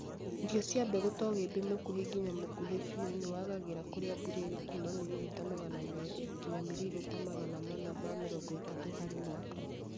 Irio cia mbegu ta ũgĩmbĩ mũkuhĩ ngina mũkuhĩ biu nĩwagagĩra kũrĩa mbura ĩrĩ kuuma miririta magana meri nginya miririta Magana mana ma mĩrongo ĩtatũ harĩ mwaka